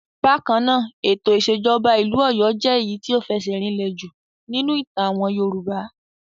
Bákan náà, ètò ìṣèjọba ìlú Ọ̀yọ́ jẹ́ èyí tí ó fẹsẹ̀ rinlẹ̀ jù nínú ìtàn àwọn Yorùbá.